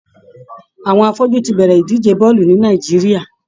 Àwọn afọ́jú ti bẹ̀rẹ̀ ìdíje bọ́ọ̀lù ní Nàìjíríà.